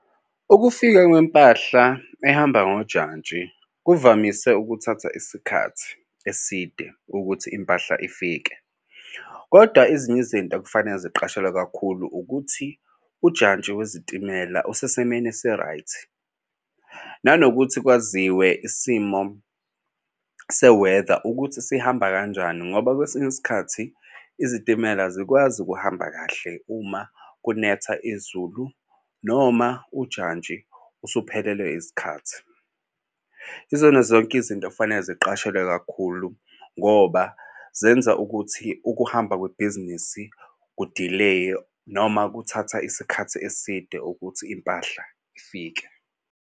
Ukufika kwempahla ehamba ngojantshi kuvamise ukuthatha isikhathi eside ukuthi impahla ifike, kodwa ezinye izinto ekufanele ziqashelwe kakhulu ukuthi ujantshi wezitimela usesimeni esi-right. Nanokuthi kwaziwe isimo seweda ukuthi sihamba kanjani, ngoba kwesinye isikhathi izitimela azikwazi ukuhamba kahle uma kunetha izulu noma ujantshi usuphelelwe isikhathi. Izona zonke izinto ekufanele ziqashelwe kakhulu ngoba zenza ukuthi ukuhamba kwebhizinisi kudileya noma kuthatha isikhathi eside ukuthi impahla ifike.